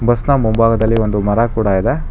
ಸುತ್ತ ಮುಂಭಾಗದಲ್ಲಿ ಒಂದು ಮರ ಕೂಡ ಇದೆ.